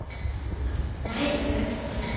Annað væri það ekki.